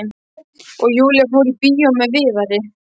Og Júlía fór í bíó með Viðari.